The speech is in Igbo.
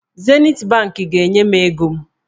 Zenit bankị ga-enye m ego m.